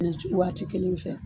waati kelenw fɛ